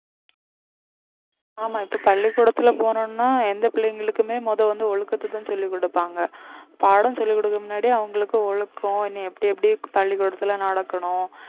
ஆமா இப்ப பள்ளிக்கூடத்துல போனோம்னா எந்த பிள்ளைங்களுக்குமே முதல் வந்து ஒழுக்கத்தைதான் சொல்லிக் கொடுப்பாங்க பாடம் சொல்லிக் கொடுக்க முன்னாடி அவங்களுக்கு ஒழுக்கம் என்ன எப்படி எப்படி பள்ளிக்கூடத்துல நடக்கணும்